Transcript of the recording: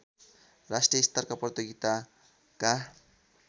राष्ट्रिय स्तरका प्रतियोगिताका